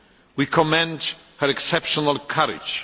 We commend her exceptional courage.